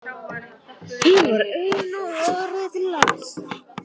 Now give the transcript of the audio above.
Hún var ein á og horfði til lands.